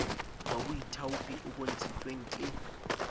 wa boithaopi o bontshitsweng ke